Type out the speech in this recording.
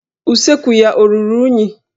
Usekwu ya ọ ruru unyi?